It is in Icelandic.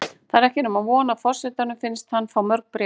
Það er ekki nema von að forsetanum finnist hann fá mörg bréf.